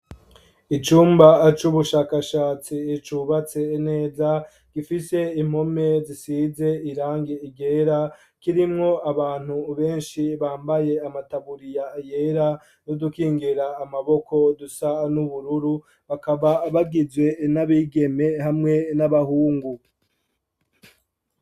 Icumba c'ubushakashatsi cubatse neza gifise impome zisize irangi ryera kirimwo abantu benshi bambaye amataburiya yera n'udukingira amaboko dusa n'ubururu bakaba bagizwe n'abigeme hamwe n'abahungu.